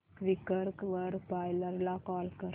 Quikr वर buyer ला call कर